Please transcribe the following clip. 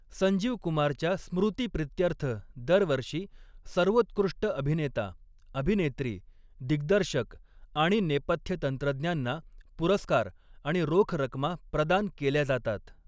संजीव कुमारच्या स्मृतीप्रित्यर्थ दरवर्षी, सर्वोत्कृष्ट अभिनेता, अभिनेत्री, दिग्दर्शक आणि नेपथ्य तंत्रज्ञांना पुरस्कार आणि रोख रक्कमा प्रदान केल्या जातात.